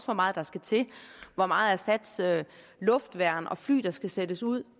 hvor meget der skal til hvor meget af assads luftværn og fly der skal sættes ud